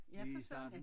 Lige i starten